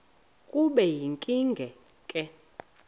kube yinkinge ke